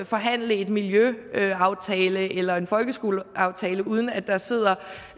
forhandle en miljøaftale eller en folkeskoleaftale uden at der sidder